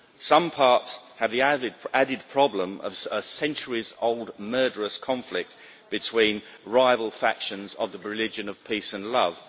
Some parts have the added problem of centuries old murderous conflicts between rival factions of the religion of peace and love.